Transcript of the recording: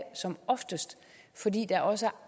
som oftest fordi der også er